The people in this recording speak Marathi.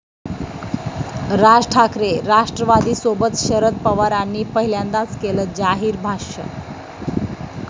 राज ठाकरे राष्ट्रवादीसोबत? शरद पवारांनी पहिल्यांदाच केलं जाहीर भाष्य